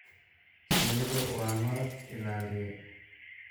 Shinnidu waa malab-ilaaliye.